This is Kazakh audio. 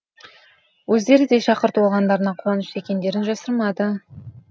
өздері де шақырту алғандарына қуанышты екендерін жасырмады